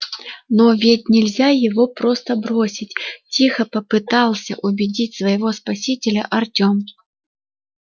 но ведь нельзя его просто бросить тихо попытался убедить своего спасителя артём